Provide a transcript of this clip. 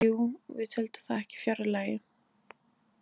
Jú, við töldum það ekki fjarri lagi.